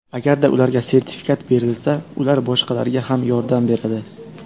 Agarda ularga sertifikat berilsa, ular boshqalarga ham yordam beradi.